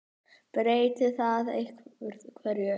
Breytir það einhverju?